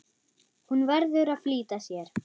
Hún verður að flýta sér.